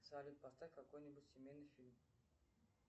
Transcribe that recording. салют поставь какой нибудь семейный фильм